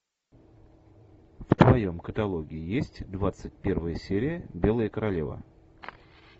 в твоем каталоге есть двадцать первая серия белая королева